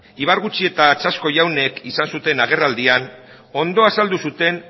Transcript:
ibargutxi eta txasko jaunek izan zuten agerraldian ondo azaldu zuten